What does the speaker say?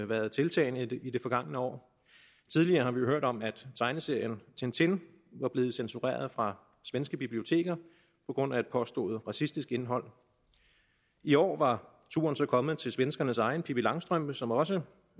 været tiltagende i det forgangne år tidligere har vi hørt om at tegneserien tintin var blevet censureret fra svenske biblioteker på grund af et påstået racistisk indhold i år var turen så kommet til svenskernes egen pippi langstrømpe som også